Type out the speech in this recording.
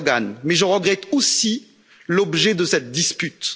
Erdoğan mais je regrette aussi l'objet de cette dispute.